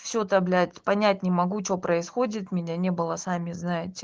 все то блять понять не могу что происходит меня не было сами знаете